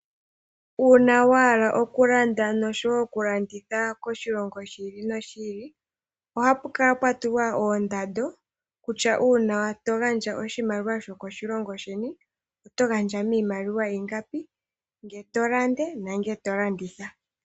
Uuna wa hala oku landa nosho wo oku landitha koshilongo shi ili noshi ili, ohapu kala pwa tulwa oondando kutya uuna to gandja oshimaliwa sho koshilongo sheni oto gandja miimaliwa ingapi, ngele to landa nenge to landitha.